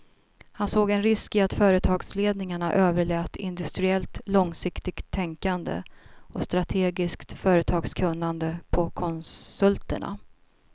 Han såg en risk i att företagsledningarna överlät industriellt långsiktigt tänkande och strategiskt företagskunnande på konsulterna.